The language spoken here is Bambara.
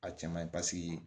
A cɛ man ɲi paseke